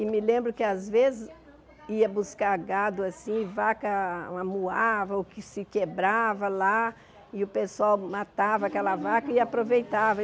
E me lembro que, às vezes, ia buscar gado assim e vaca amuava ou que se quebrava lá e o pessoal matava aquela vaca e aproveitava.